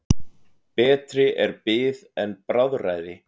Betri er bið en bráðræði.